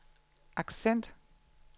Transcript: accent